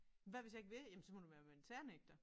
Hvad hvis jeg ikke vil jamen så må du være militærnægter